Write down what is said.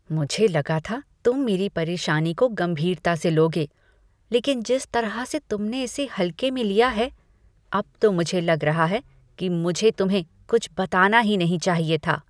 मुझे लगा था तुम मेरी परेशानी को गंभीरता से लोगे, लेकिन जिस तरह से तुमने इसे हल्के में लिया है, अब तो मुझे लग रहा है कि मुझे तुम्हें कुछ बताना ही नहीं चाहिए था।